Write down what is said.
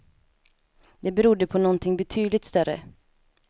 Det berodde på någonting betydligt större.